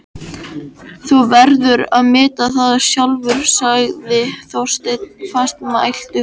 Þú verður að meta það sjálfur sagði Þorsteinn fastmæltur.